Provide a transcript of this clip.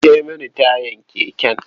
Kwance mini tayar keken.